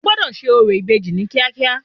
O gbọ́dọ̀ ṣe orò ìbejì ní kíákíá.